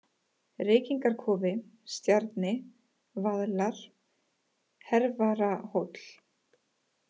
Reykingarkofi, Stjarni, Vaðlar, Hervararhóll